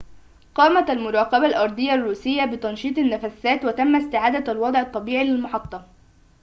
قامت المراقبة الأرضية الروسية بتنشيط النفّثات وتم استعادة الوضع الطبيعي للمحطة